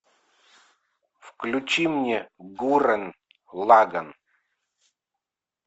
включи мне гуррен лаганн